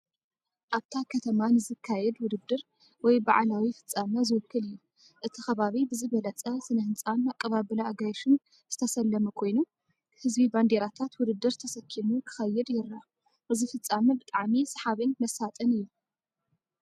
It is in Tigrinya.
ኣብታ ከተማ ንዝካየድ ውድድር ወይ በዓላዊ ፍጻመ ዝውክል እዩ። እቲ ከባቢ ብዝበለጸ ስነ ህንጻን ኣቀባብላ ኣጋይሽን ዝተሰለመ ኮይኑ፡ ህዝቢ ባንዴራታት ውድድር ተሰኪሙ ክኸይድ ይረአ። እዚ ፍፃመ ብጣዕሚ ሰሓብን መሳጥን እዩ።